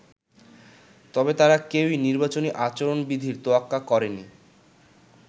তবে তারা কেউই নির্বাচনী আচরণ বিধির তোয়াক্কা করেনি।